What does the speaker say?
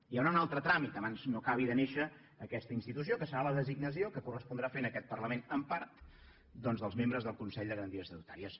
hi haurà un altre tràmit abans no acabi de néixer aquesta institució que serà la designació que correspondrà fer en aquest parlament en part doncs dels membres del consell de garanties estatutàries